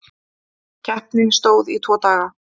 Keppni stóð í tvo daga.